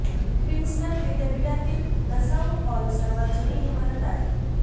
Princeton विद्यापीठातील Nassau hall सर्वात जुनी इमारत आहे